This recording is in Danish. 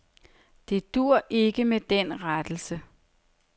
Det duer ikke med den rettelse.